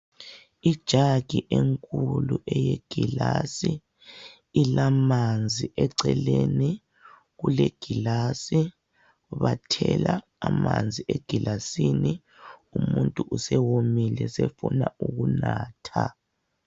Ijagi enkulu eyegilasi ilamanzi eceleni kule gilasi bathela amanzi egilasini umuntu usewomile sefuna ukunatha.